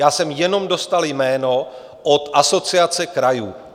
Já jsem jenom dostal jméno od Asociace krajů.